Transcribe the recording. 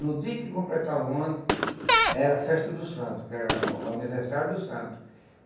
No dia que completavam o ano era a festa do santo, que era o aniversário do santo.